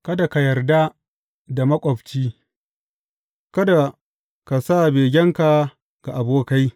Kada ka yarda da maƙwabci; kada ka sa begenka ga abokai.